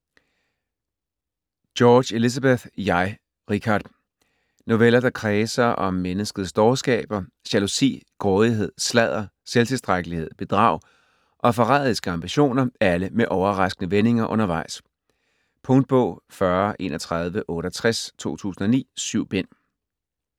George, Elizabeth: Jeg, Richard Noveller der kredser om menneskets dårskaber, jalousi, grådighed, sladder, selvtilstrækkelighed, bedrag og forræderiske ambitioner, alle med overraskende vendinger undervejs. Punktbog 403168 2009. 7 bind.